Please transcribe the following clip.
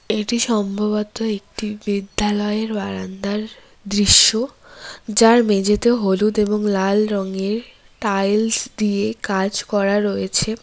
এটি সম্ভবত একটি বিদ্যালয়ের বারান্দার দৃশ্য যার মেঝেতে হলুদ এবং লাল রংয়ে টাইলস দিয়ে কাজ করা রয়েছে।